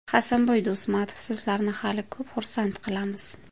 Hasanboy Do‘stmatov: Sizlarni hali ko‘p xursand qilamiz!.